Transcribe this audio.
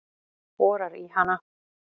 Borar í hana.